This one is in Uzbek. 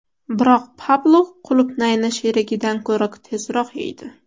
Biroq Pablo qulupnayni sherigidan ko‘ra tezroq yeydi.